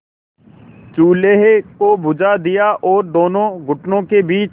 चूल्हे को बुझा दिया और दोनों घुटनों के बीच